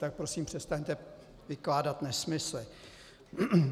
Tak prosím přestaňte vykládat nesmysly.